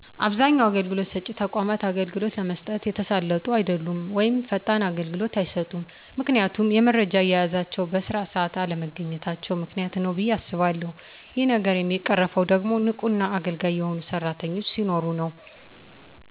አብዛኛው አገልግሎት ሰጭ ተቋማት አገልግሎት ለመስጠት የተሳለጡ አደሉም ወይም ፈጣን አገልግሎት አይሰጡም ምክንያቱም የመረጃ አያያዛቸው በስራ ሰአት አለመገኚታቸው ምክንያት ነው ብየ አስባለሁ ይህ ነገር የሚቀረፈው ደግሞ ንቁና አገልጋይ የሆኑ ሰራተኞች ሲኖሩ ነው።